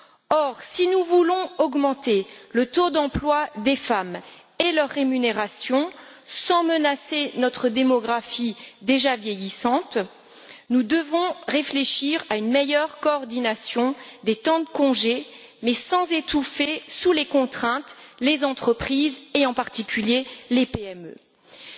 Or, si nous voulons augmenter le taux d'emploi des femmes et leur rémunération sans menacer notre démographie déjà vieillissante, nous devons réfléchir à une meilleure coordination des temps de congé sans étouffer sous les contraintes les entreprises et, en particulier, les petites et moyennes entreprises.